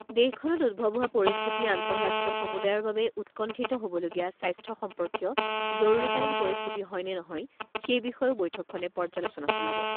দেশখনত উদ্ভৱ হোৱা পৰিস্থিতি আন্তঃৰাষ্ট্ৰীয় সমুদায়ৰ বাবে উৎকণ্ঠিত হ'বলগীয়া স্বাস্থ্য সম্পৰ্কীয় জৰুৰীকালীন পৰিস্থিতি হয় নে নহয়, সেই বিষয়েও বৈঠকখনে পৰ্য্যালোচনা চলাব।